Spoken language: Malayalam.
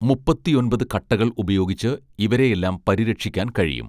മുപ്പത്തിയൊൻപത് കട്ടകൾ ഉപയോഗിച്ച് ഇവരെയെല്ലാം പരിരക്ഷിക്കാൻ കഴിയും